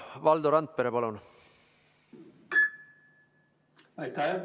Valdo Randpere, palun!